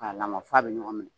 K'a lamaga f'a bɛ ɲɔgɔn minɛ.